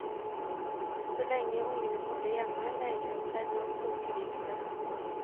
Så lenge ungene bodde hjemme, nøyde hun seg med å koke viltet.